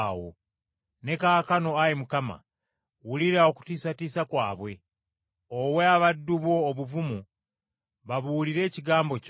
Ne kaakano, Ayi Mukama, wulira okutiisatiisa kwabwe; owe abaddu bo obuvumu babuulire ekigambo kyo,